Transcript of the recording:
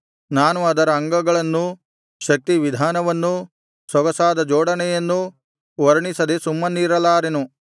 ನಾನು ಅದರ ಅಂಗಗಳನ್ನೂ ಶಕ್ತಿವಿಧಾನವನ್ನೂ ಸೊಗಸಾದ ಜೋಡಣೆಯನ್ನೂ ವರ್ಣಿಸದೆ ಸುಮ್ಮನಿರಲಾರೆನು